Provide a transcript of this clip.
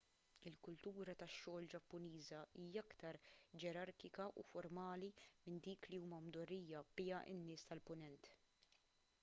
il-kultura tax-xogħol ġappuniża hija aktar ġerarkika u formali minn dik li huma mdorrijin biha n-nies tal-punent